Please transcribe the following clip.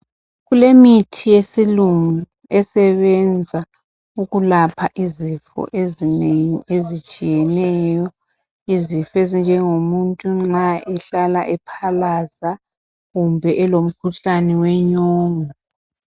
Kulemithi yesilungu esebenza ukulapha izifo ezinengi ezitshiyeneyo. Izifo ezinjengomuntu nxa ehlala ephalaza kumbe elomkhuhlane wenyongo.